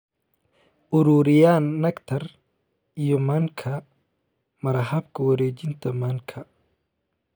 ururiyaan nectar iyo manka, mara habka wareejinta manka